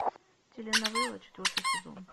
теленовелла четвертый сезон